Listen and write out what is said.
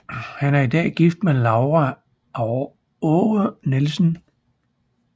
Han er i dag gift med Laura Aare Nielsen